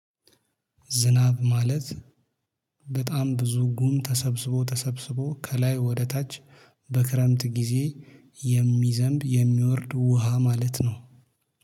ዝናብ ማለት በጣም ብዙ ጉም ተሰብስቦ ተሰብስቦ ከላይ ወደ ታች በክረምት ጊዜ የሚዘንብ የሚወርድ ውሃ ማለት ነው